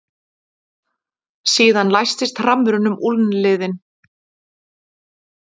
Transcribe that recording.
Síðan læstist hrammurinn um úlnliðinn.